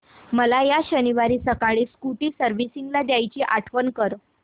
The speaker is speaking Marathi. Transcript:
मला या शनिवारी सकाळी स्कूटी सर्व्हिसिंगला द्यायची आठवण कर